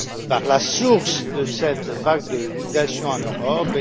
par la source de cette vague de migration en Europe.